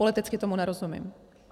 Politicky tomu nerozumím.